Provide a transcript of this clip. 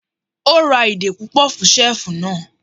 O ra ìdè púpọ̀ fún ṣẹ́ẹ̀fù náà.